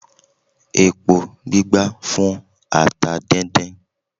Epo gbígbá fún ata díndín